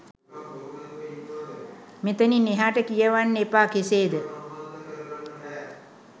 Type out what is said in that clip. මෙතනින් එහාට කියවන්න එපා»කෙසේ ද?